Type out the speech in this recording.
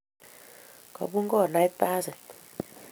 Kopun konait basit